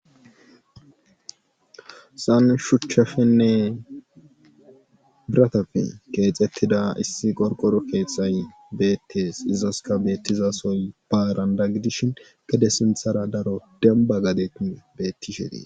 Hessan shuchapenne birateppe keexettida issi qorqqoro krrthay beettees izaskka beettizasoy baarandda gidishin gede sinthar daro dembba gadeti beettishe dees.